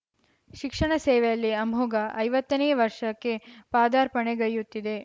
ಶಿಕ್ಷಣ ಸೇವೆಯಲ್ಲಿ ಅಮೋಘ ಐವತ್ತನೇ ವರ್ಷಕ್ಕೆ ಪಾದಾರ್ಪಣೆಗೈಯುತ್ತಿದೆ